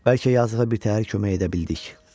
Bəlkə yazığa bitəhər kömək edə bildik.